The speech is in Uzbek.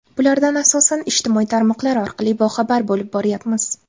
Bulardan, asosan, ijtimoiy tarmoqlar orqali boxabar bo‘lib boryapmiz.